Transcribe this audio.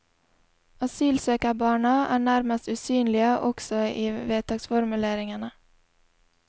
Asylsøkerbarna er nærmest usynlige også i vedtaksformuleringene.